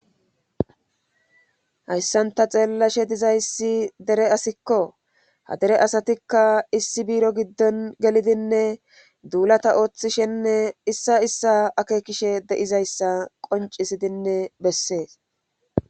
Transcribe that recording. hayssanta xeellashe dizayssi dere asikko ha dere asatikka issi biiro giddon gelidinne duulata ooththishenne issa issa akekishe deizayssa qoncisidinne bessees